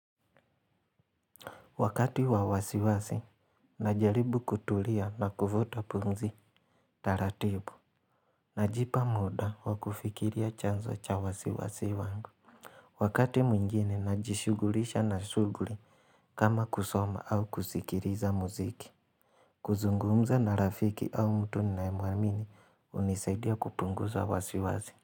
Wakati wa wasiwasi, najaribu kutulia na kuvuta pumzi, taratibu. Najipa muda wa kufikiria chanzo cha wasiwasi wangu. Wakati mwingine, najishughulisha na shughuli kama kusoma au kuskiliza muziki. Kuzungumza na rafiki au mtu ninayemuamini, hunisaidia kupunguza wasiwasi.